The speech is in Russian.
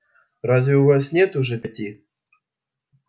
разве у вас нет уже пяти